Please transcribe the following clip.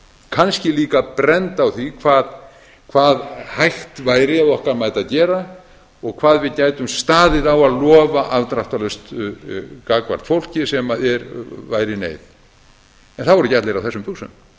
kannski líka brennd á því hvað hægt væri að okkar mati að gera og hvað við gætum staðið á að lofa afdráttarlaust gagnvart fólki sem væri í neyð það voru ekki allir á þessum buxum